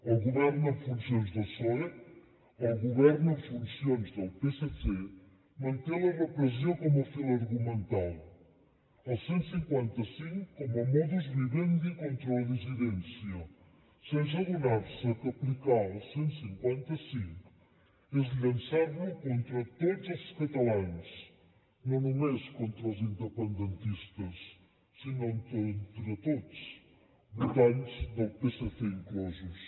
el govern en funcions del psoe el govern en funcions del psc manté la repressió com a fil argumental el cent i cinquanta cinc com a modus vivendi contra la dissidència sense adonar se que aplicar el cent i cinquanta cinc és llançar lo contra tots els catalans no només contra els independentistes sinó contra tots votants del psc inclosos